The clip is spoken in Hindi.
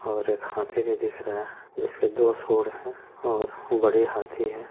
और एक हाथी भी दिख रहा है जिसके दो सूंड है और बड़ी हाथी है।